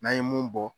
N'an ye mun bɔ